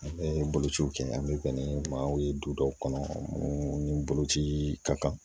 An bɛ bolociw kɛ an bɛ bɛn ni maaw ye du dɔw kɔnɔ ni boloci ka kan